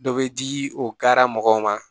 Dɔ bɛ di o kari mɔgɔw ma